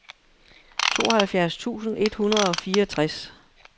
tooghalvfjerds tusind et hundrede og fireogtres